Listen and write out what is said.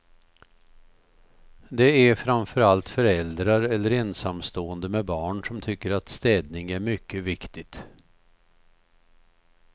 Det är framförallt föräldrar eller ensamstående med barn som tycker att städning är mycket viktigt.